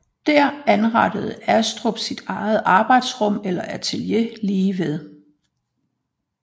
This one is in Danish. Der anrettede Astrup sit eget arbejdsrum eller atelier lige ved